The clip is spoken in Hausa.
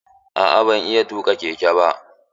Aa ban iya tuƙa keke ba.